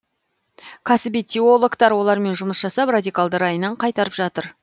кәсіби теологтар олармен жұмыс жасап радикалды райынан қайтарып жатыр